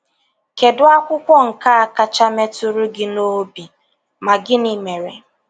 KEDU AKWỤKWỌ NKE A KACHA METỤRỤ GỊ N’ỌBÍ, MA GỊNỊ MERE?